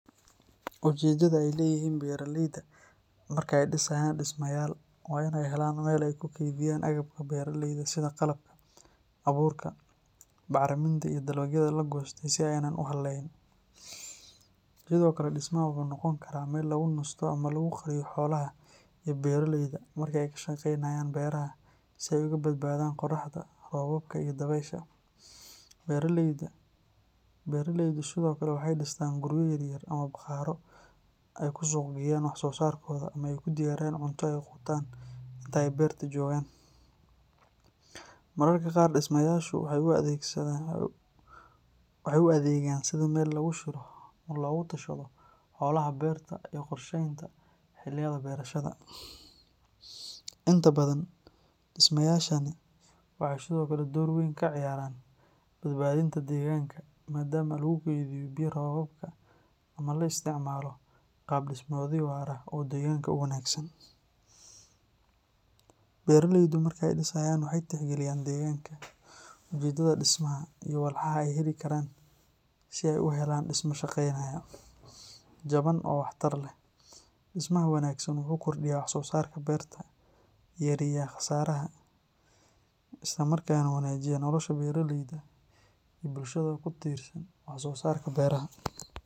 Ujeeddada ay leeyihiin beeraleyda marka ay dhisayaan dhismayaal waa inay helaan meel ay ku kaydiyaan agabka beeraleyda sida qalabka, abuurka, bacriminta iyo dalagyada la goostay si aanay u hallayn. Sidoo kale, dhismaha waxa uu noqon karaa meel lagu nasto ama lagu qariyo xoolaha iyo beeraleyda marka ay ka shaqeynayaan beeraha si ay uga badbaadaan qorraxda, roobka iyo dabaysha. Beeraleydu sidoo kale waxay dhistaan guryo yar yar ama bakhaarro ay ku suuq geeyaan wax soo saarkooda ama ay ku diyaariyaan cunto ay quutaan inta ay beerta joogaan. Mararka qaar, dhismayaashu waxay u adeegaan sidii meel lagu shiro ama looga tashado howlaha beerta iyo qorsheynta xilliyada beerashada. Inta badan, dhismayaashani waxay sidoo kale door weyn ka ciyaaraan badbaadinta deegaanka maadaama lagu keydiyo biyo roobaadka ama la isticmaalo qaab dhismeedyo waara oo deegaanka u wanaagsan. Beeraleydu markay dhisayaan waxay tixgeliyaan deegaanka, ujeeddada dhismaha, iyo walxaha ay heli karaan si ay u helaan dhisme shaqaynaya, jaban oo waxtar leh. Dhismaha wanaagsan wuxuu kordhiyaa wax-soosaarka beerta, yareeyaa khasaaraha, isla markaana wanaajiya nolosha beeraleyda iyo bulshada ku tiirsan wax-soosaarka beeraha.